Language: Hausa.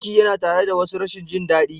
Ciki yana tare da wasu rashin jin daɗi.